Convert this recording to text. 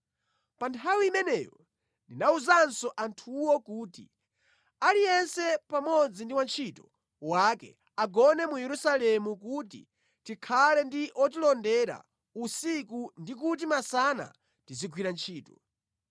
Pa nthawi imeneyo ndinawuzanso anthuwo kuti, “Aliyense pamodzi ndi wantchito wake agone mu Yerusalemu kuti tikhale ndi otilondera usiku ndi kuti masana tizigwira ntchito.”